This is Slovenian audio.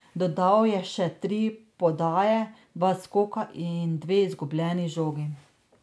Dodal je še tri podaje, dva skoka in dve izgubljeni žogi.